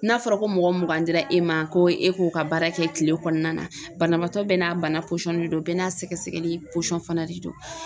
N'a fɔra ko mɔgɔ mugan dira e ma ko e k'o ka baara kɛ kile kɔnɔna na banabaatɔ bɛɛ n'a bana de don, bɛɛ n'a sɛgɛsɛgɛli fana de don.